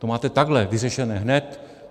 To máte takhle vyřešené hned.